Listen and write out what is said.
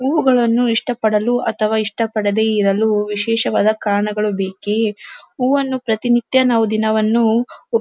ಹೂವುಗಳನು ಇಷ್ಟಪಡಲು ಅಥವಾ ಇಷ್ಟಪಡದೆ ಇರಲು ವಿಶೇಷವಾದ ಕಾರಣಗಳು ಬೇಕೆ ಹೂವನ್ನು ಪ್ರತಿನಿತ್ಯ ನಾವು ದಿನವನ್ನು --